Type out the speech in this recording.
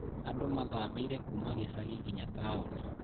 Andũ mathamĩire kuuma gĩcagi ngina taoni.